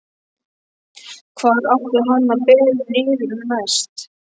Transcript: Hvar átti hann að bera niður næst?